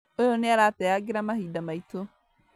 ũyũ nĩarateangĩra mahinda maitũ